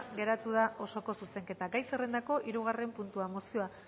geratu da osoko zuzenketa gai zerrendako hirugarren puntua mozioa